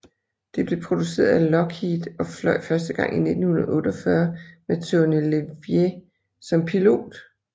Det blev produceret af Lockheed og fløj første gang i 1948 med Tony LeVier som pilot